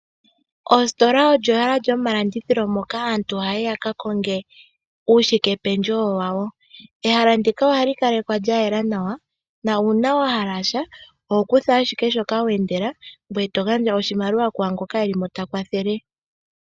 Oositola olyo ehala lyomalandithilo, moka aantu hayi yaka konge uushike pendjewo wawo. Ehala ndika ohali kalekwa lya yela nawa, na uuna wahala sha oho kutha ashike shoka wa endela, ngwe to gandja oshimaliwa kwa ngoka ta kwathele.